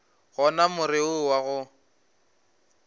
gona more wo wa go